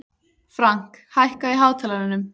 Frank, hækkaðu í hátalaranum.